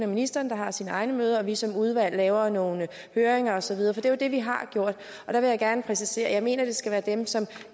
ministeren der har sine egne møder og vi som udvalg laver nogle høringer og så videre for det er jo det vi har gjort jeg vil gerne præcisere at jeg mener at det skal være dem som